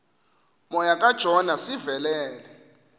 moya kajona sivelele